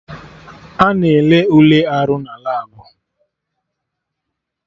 Ana ele Ule arụ na labụ